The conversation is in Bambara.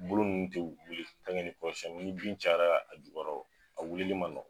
Bolo ninnu tɛ wili ni kɔrɔsiyɛnni ni bin cayara jukɔrɔ a wuli ma nɔgɔn.